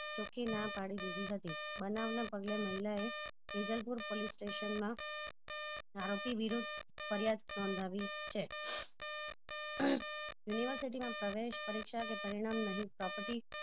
ચૌખી ના પાડી દીધી હતી બનાવ ના પગલે મહિલા એ વેજલપુર police station માં આરોપી વિરુધ ફરિયાદ નોધાવી છ university માં પ્રવેશ પરીક્ષા કે પરિણામ નહિ property